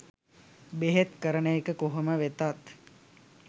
බෙහෙත් කරන එක කොහොම වෙතත්